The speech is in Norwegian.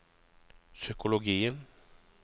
psykologien